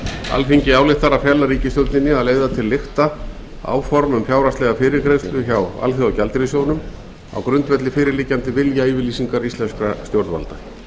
alþingi ályktar að fela ríkisstjórninni að leiða til lykta áform um fjárhagslega fyrirgreiðslu hjá alþjóðagjaldeyrissjóðnum á grundvelli fyrirliggjandi viljayfirlýsingar íslenskra stjórnvalda